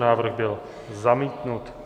Návrh byl zamítnut.